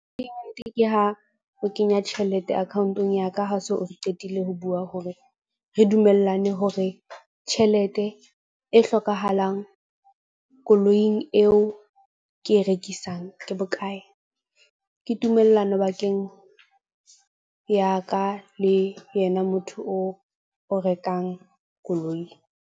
Ke ha o kenya tjhelete account-ong ya ka ha so qetile ho bua hore re dumellane hore tjhelete e hlokahalang koloing eo ke e rekisang, ke bokae. Ke tumellano bakeng ya ka le yena motho oo o rekang koloi.